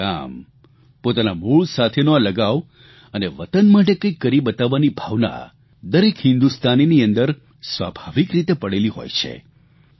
પોતાના ગામ પોતાના મૂળ સાથેનો આ લગાવ અને વતન માટે કંઇક કરી બતાવવાની ભાવના દરેક હિંદુસ્તાનીની અંદર સ્વાભાવિક રીતે પડેલી હોય છે